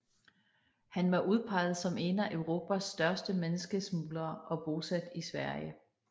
Han var udpeget som en af Europas største menneskesmuglerer og bosat i Sverige